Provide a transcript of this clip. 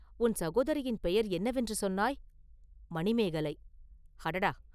உன் சகோதரியின் பெயர் என்னவென்று சொன்னாய்?” “மணிமேகலை!” “அடடா!